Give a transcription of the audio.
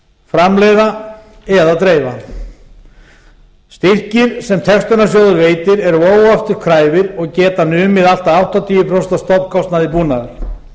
framleiða eða dreifa styrkir sem textunarsjóður veitir eru óafturkræfir og geta numið allt að áttatíu prósent af stofnkostnaði búnaðar